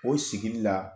O sigili la